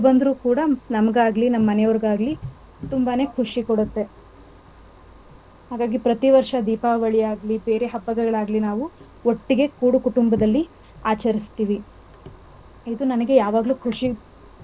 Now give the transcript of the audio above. ತುಂಬಾನೇ ಖುಷಿ ಕೊಡುತ್ತೇ ಹಾಗಾಗಿ ಪ್ರತಿವರ್ಷ ದೀಪಾವಳಿ ಆಗ್ಲಿ ಬೇರೆ ಹಬ್ಬಗಳಾಗ್ಲಿ ನಾವು ಒಟ್ಟಿಗೆ ಕೂಡು ಕುಟುಂಬದಲ್ಲಿ ಆಚರಿಸ್ತಿವಿ. ಇದು ನನಗೆ ಯಾವಗ್ಲೂ ಖುಷಿ ತರೋವಂತಹ ವಿಚಾರ ಪಟಾಕಿ ಹೋಡಿಬಾರದು.